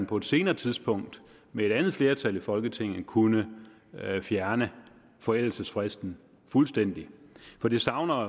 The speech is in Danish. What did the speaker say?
på et senere tidspunkt med et andet flertal i folketinget kunne fjerne forældelsesfristen fuldstændig for det savner